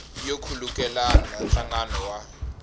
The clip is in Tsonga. yo khulukelana na nhlangano wa